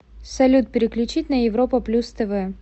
салют переключить на европа плюс тв